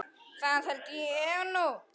Það held ég nú.